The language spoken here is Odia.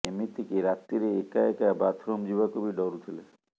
ଏମିତିକି ରାତିରେ ଏକା ଏକା ବାଥରୁମ୍ ଯିବାକୁ ବି ଡରୁଥିଲେ